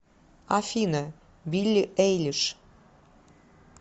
афина билли эйлиш